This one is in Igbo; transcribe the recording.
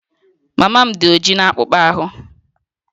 Mama m dị ojii na akpụkpọ ahụ